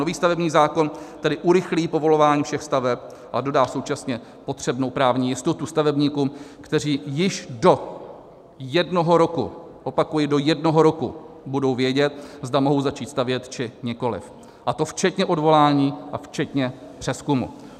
Nový stavební zákon tedy urychlí povolování všech staveb a dodá současně potřebnou právní jistotu stavebníkům, kteří již do jednoho roku - opakuji, do jednoho roku - budou vědět, zda mohou začít stavět, či nikoliv, a to včetně odvolání a včetně přezkumu.